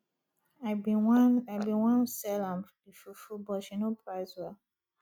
i bin wan i bin wan sell am the fufu but she no price well